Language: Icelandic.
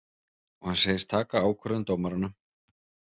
Og hann segist taka ákvörðun dómaranna